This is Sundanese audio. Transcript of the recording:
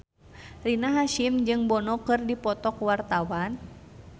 Rina Hasyim jeung Bono keur dipoto ku wartawan